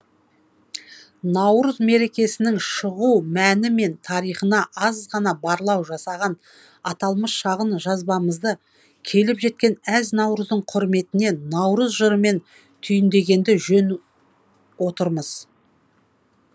наурыз мерекесінің шығу мәні мен тарихына аз ғана барлау жасаған аталмыш шағын жазбамызды келіп жеткен әз наурыздың құрметіне наурыз жырымен түйіндегенді жөн отырмыз